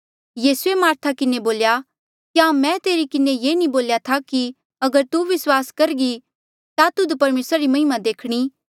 यीसूए मारथा किन्हें बोल्या क्या मैं तेरे किन्हें नी बोल्या था कि अगर तू विस्वास करघी ता तुध परमेसरा री महिमा देखणी